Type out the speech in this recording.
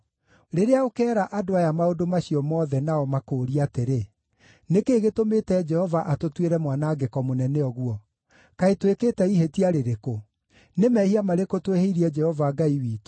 “Rĩrĩa ũkeera andũ aya maũndũ macio mothe nao makũũrie atĩrĩ, ‘Nĩ kĩĩ gĩtũmĩte Jehova atũtuĩre mwanangĩko mũnene ũguo? Kaĩ twĩkĩte ihĩtia rĩrĩkũ? Nĩ mehia marĩkũ twĩhĩirie Jehova Ngai witũ?’